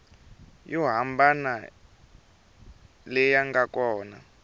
yo hambana leyi nga kona